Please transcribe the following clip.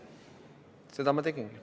Seda ma teengi.